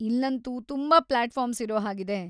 ಇಲ್ಲಂತೂ ತುಂಬಾ ಪ್ಲಾಟ್‌ಫಾರ್ಮ್ಸ್ ಇರೋ ಹಾಗಿದೆ.